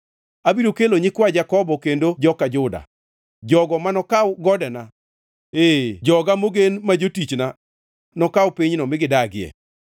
Abiro kelo nyikwa joka Jakobo kendo joka Juda, jogo manokaw godena; ee joga mogen ma jotichna nokaw pinyno mi gidagie.